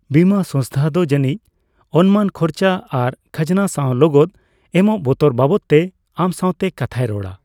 ᱵᱤᱢᱟᱹ ᱥᱚᱝᱥᱛᱷᱟ ᱫᱚ ᱡᱟᱹᱱᱤᱡᱽ ᱚᱱᱢᱟᱱ ᱠᱷᱚᱨᱪᱟ ᱟᱨ ᱠᱷᱟᱡᱽᱱᱟ ᱥᱟᱣ ᱞᱚᱜᱚᱫ ᱮᱢᱚᱜ ᱵᱚᱛᱚᱨ ᱵᱟᱵᱚᱫᱛᱮ ᱟᱢ ᱥᱟᱣᱛᱮ ᱠᱟᱛᱷᱟᱭ ᱨᱚᱲᱟ ᱾